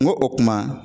N go o kuma